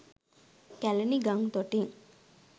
කැළණි ගං තොටින්